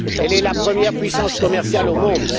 Elle est la première puissance commerciale au monde.